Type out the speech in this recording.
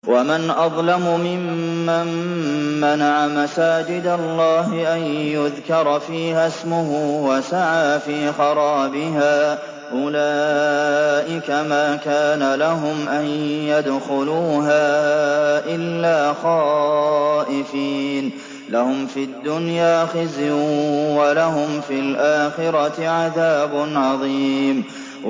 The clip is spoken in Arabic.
وَمَنْ أَظْلَمُ مِمَّن مَّنَعَ مَسَاجِدَ اللَّهِ أَن يُذْكَرَ فِيهَا اسْمُهُ وَسَعَىٰ فِي خَرَابِهَا ۚ أُولَٰئِكَ مَا كَانَ لَهُمْ أَن يَدْخُلُوهَا إِلَّا خَائِفِينَ ۚ لَهُمْ فِي الدُّنْيَا خِزْيٌ وَلَهُمْ فِي الْآخِرَةِ عَذَابٌ عَظِيمٌ